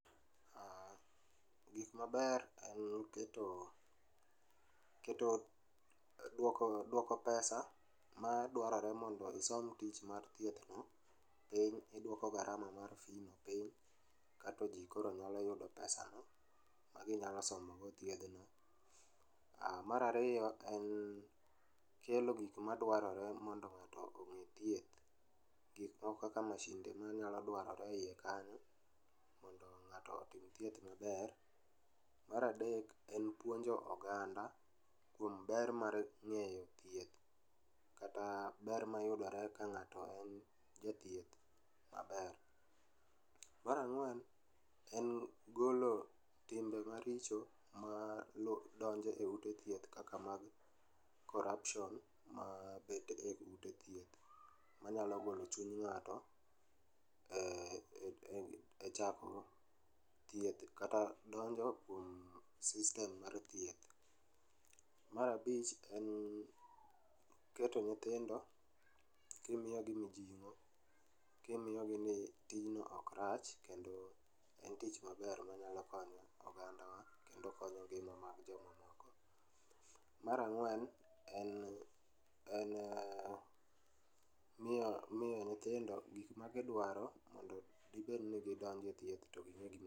Ah, gik maber en keto keto dwoko pesa ma dwarore mondo isom tich mar thieth no, piny idwoko garama mar fi no piny. Kato ji koro nyalo yudo pesa no ma ginyalo somogo thiedhno. Ah, marariyo en kelo gik madwarore mondo ng'ato ong'e thieth. Gik moko kaka mashinde manyalo dwarore e iye kanyo mondo ng'ato otim thieth maber. Maradek en puonjo oganda kuom ber mar ng'eyo thieth kata ber mayudore ka ng'ato en japthieth maber. Marang'wen, en golo timbe maricho ma donjo e ute thieth kaka mag corruption ma bede e ute thieth manyalo golo chuny ng'ato e chako thieth kata donjo e sistem mar thieth. Marabich en keto nyithindo kimiyogi mijieng'o, kimiyogi ni tijno ok rach kendo en tich maber manyalo konyo ogandawa kendo konyo ngima mar joma moko. Marang'wen en, en miyo miyo nyithindo gik magidwaro mondo gibed ni gidonje thieth to ging'e gima.